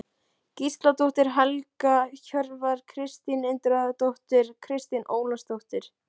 Gísladóttir, Helga Hjörvar, Kristín Indriðadóttir, Kristín Ólafsdóttir